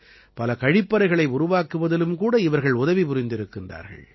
பல கழிப்பறைகளை உருவாக்குவதிலும் கூட இவர்கள் உதவி புரிந்திருக்கிறார்கள்